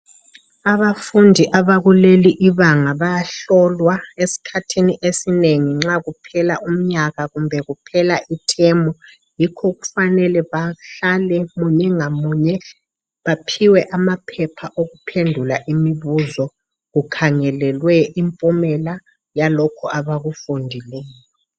Abafundi abakuleli ibanga bayahlolwa esikhathini esinengi nxa kuphela umnyaka kumbe kuphela ithemu . Yikho kufanele bahlale munye ngamunye baphiwe amaphepha okuphendula imibuzo kukhangelelwe impumela yalokho abakufundileyo.